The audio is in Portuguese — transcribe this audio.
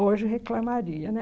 Hoje reclamaria, né?